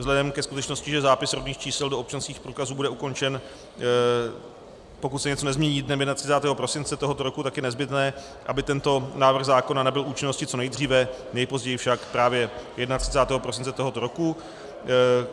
Vzhledem ke skutečnosti, že zápis rodných čísel do občanských průkazů bude ukončen, pokud se něco nezmění, dnem 31. prosince tohoto roku, tak je nezbytné, aby tento návrh zákona nabyl účinnosti co nejdříve, nejpozději však právě 31. prosince tohoto roku.